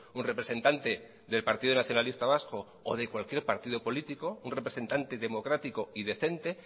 un representante del partido nacionalista vasco o de cualquier partido político un representante democrático y decente